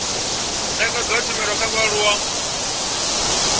nekedzwa ha tshumelo kha vhaaluwa